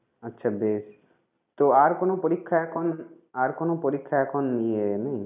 আচ্ছা বেশ তো আর কোন পরীক্ষা এখন আর কোন পরীক্ষা এখন নি~ নেই?